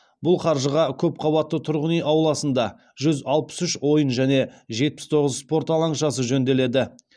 бұл қаржыға көпқабатты тұрғын үй ауласында жүз алпыс үш ойын және жетпіс тоғыз спорт алаңшасы жөнделеді